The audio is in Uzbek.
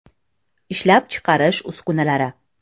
Ishlab chiqarish uskunalari.